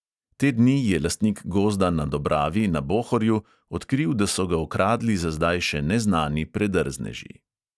Te dni je lastnik gozda na dobravi na bohorju odkril, da so ga okradli za zdaj še neznani predrzneži.